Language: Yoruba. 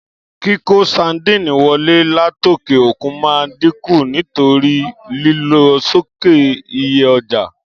Kíkó sandínì wolé látòkè òkun ma dínkù nítorí lílo sókè iye ojà.